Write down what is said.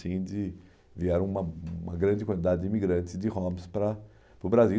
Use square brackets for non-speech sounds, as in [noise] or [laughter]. [unintelligible] Vieram uma uma grande quantidade de imigrantes de Homs para o Brasil.